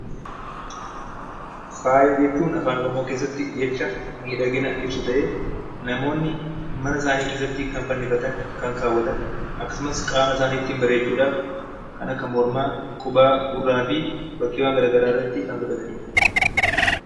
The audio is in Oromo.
Faaya jechuun Afaan Oromoo keessatti jecha miidhagina ibsu ta'ee, namoonni mana isaanii keessatti kan fannifatan, kan kaawwatan akkasumas qaama isaanii bareechuu dhaaf kan akka mormaa, qubaa, gurraa fi bakkeewwan gara garaa irratti kan godhatani dha.